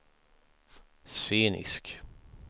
scenisk